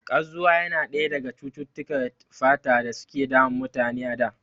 Kazwa yana ɗaya daga cututtukar fata da suke damun mutane a da